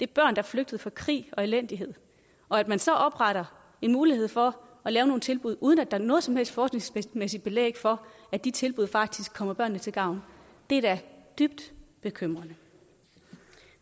der er flygtet fra krig og elendighed og at man så opretter en mulighed for at lave nogle tilbud uden at der er noget som helst forskningsmæssigt belæg for at de tilbud faktisk kommer børnene til gavn er da dybt bekymrende